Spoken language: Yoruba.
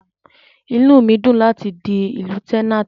Inú mi dùn láti di Lieutenant.